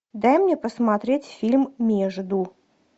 дай мне посмотреть фильм между